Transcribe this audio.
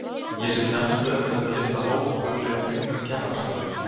Ég sit lemstruð eftir þetta litla hóf og hugleiði hnignun kennarastofunnar.